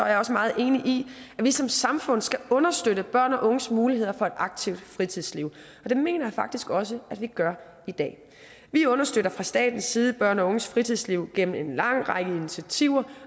jeg også meget enig i at vi som samfund skal understøtte børn og unges muligheder for et aktivt fritidsliv og det mener jeg faktisk også at vi gør i dag vi understøtter fra statens side børn og unges fritidsliv gennem en lang række initiativer